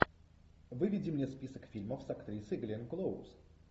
выведи мне список фильмов с актрисой гленн клоуз